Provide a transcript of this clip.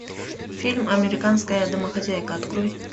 фильм американская домохозяйка открой